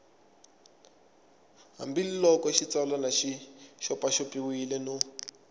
hambiloko xitsalwana xi xopaxopiwile no